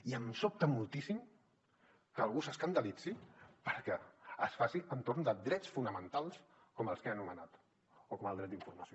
i em sobta moltíssim que algú s’escandalitzi perquè es faci entorn de drets fonamentals com els que he anomenat o com el dret d’informació